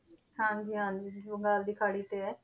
ਹਾਂਜੀ ਹਾਂਜੀ ਬੰਗਾਲ ਦੀ ਖਾੜੀ ਤੇ ਹੈ